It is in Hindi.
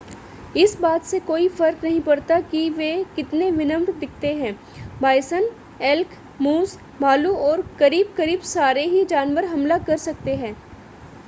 इस बात से कोई फर्क नहीं पड़ता कि वे कितने विनम्र दिखते हैं बायसन एल्क मूस भालू और करीब-करीब सारे ही जानवर हमला कर सकते हैं